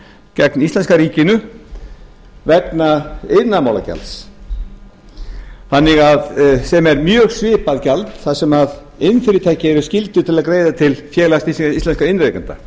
gegn íslenska ríkinu vegna iðnaðarmálagjalds sem er mjög svipað gjald þar sem iðnfyrirtæki eru skylduð til að greiða til félags íslenskum iðnrekenda